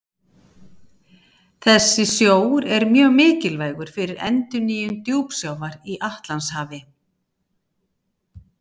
Þessi sjór er mjög mikilvægur fyrir endurnýjun djúpsjávar í Atlantshafi.